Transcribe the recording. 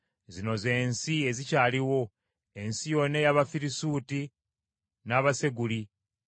“Zino z’ensi ezikyaliwo: “ensi yonna ey’Abafirisuuti n’Abaseguli